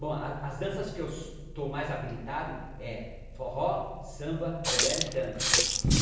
Bom, a as danças que eu so estou mais habilitado é forró, samba, bolero e tango.